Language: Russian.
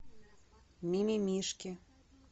мимимишки